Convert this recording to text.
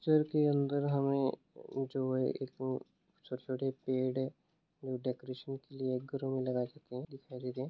Picture के अंदर हमें जो है एक सबसे बड़ी पेड़ है जो डेकोरेशन के लिए एक ग्राउंड में लगा रखी है दिखाई दी रही है।